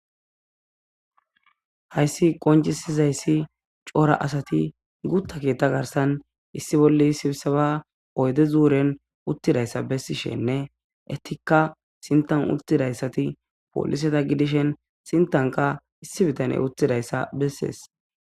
Hayssi qoncisi zayssi cora asati guutta keetta garssan issi bolla sibiseba oyde zuuren uttidayssa bessishin enttikka uttididayti pooliseta gidishin sintankka issi bitaney uttidayssa bessees.